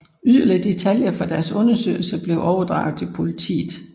Yderligere detaljer fra deres undersøgelse blev overdraget til politiet